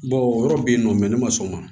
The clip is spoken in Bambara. Bawo yɔrɔ bɛ yen nɔ mɛ ne ma sɔn o ma